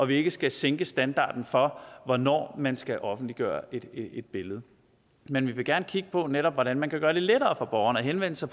vi ikke skal sænke standarden for hvornår man skal offentliggøre et billede men vi vil gerne kigge på netop hvordan man kan gøre det lettere for borgeren at henvende sig